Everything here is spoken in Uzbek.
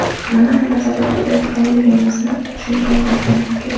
Nimani nazarda tutayotganligimizni tushungan bo‘lsangiz kerak.